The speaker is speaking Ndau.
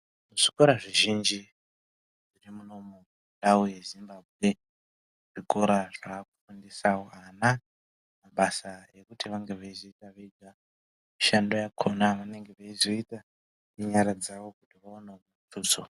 Zvikora zvizhinji zvirimunomu mundau yeZimbambwe , zvikora zvakufundisa vana mabasa ekuti vange veizoita Vega mishando yakona vanenge veizoita nenyara dzawo kuti vaonewo mutuso.